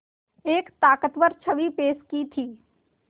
एक ताक़तवर छवि पेश की थी